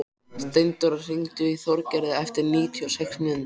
Steindóra, hringdu í Þorgerði eftir níutíu og sex mínútur.